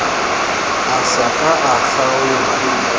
a sa ka a kgaola